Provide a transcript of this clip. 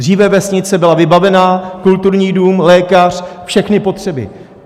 Dříve vesnice byla vybavená - kulturní dům, lékař, všechny potřeby.